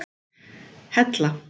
Hella